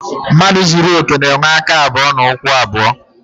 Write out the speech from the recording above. Mmadụ zuru okè na-enwe aka abụọ na ụkwụ abụọ.